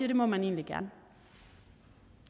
det må man egentlig gerne